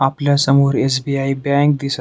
आपल्या समोर SBI. Bank दिस--